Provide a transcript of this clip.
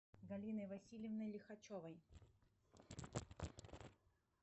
галиной васильевной лихачевой